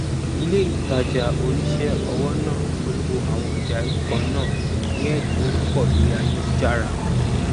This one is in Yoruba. ilé ìtajà oníṣẹ ọwọ náà polowó àwọn ọjà irú kannáà ní ẹdínwó púpọ lorí ayélujára